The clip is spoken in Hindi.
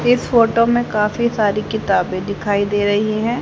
इस फोटो में काफी सारी किताबे दिखाई दे रही है।